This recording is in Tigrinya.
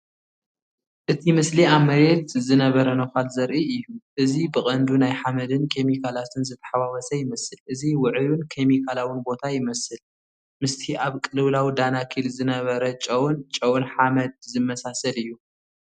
እቲ ምስሊ ኣብ መሬት ዝነበረ ነዃል ዘርኢ እዩ። እዚ ብቐንዱ ናይ ሓመድን ኬሚካላትን ዝተሓዋወሰ ይመስል። ኣዝዩ ውዑይን ኬሚካላውን ቦታ ይመስል፣ ምስቲ ኣብ ቅልውላው ዳናኪል ዝነበረ ጨውን ጨውን ሓመድ ዝመሳሰል እዩ።